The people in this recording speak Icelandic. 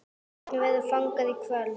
Hvernig verður fagnað í kvöld?